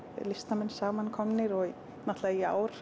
listamenn saman komnir og í ár